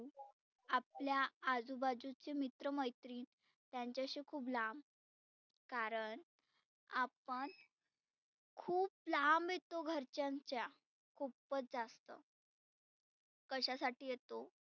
आपल्या आजुबाजुचे मित्र मैत्रीन त्यांचीशी खुप लांब कारण आपण खुप लांब येतो घरच्यांच्या खुपच जास्त. कशा साठी येतो?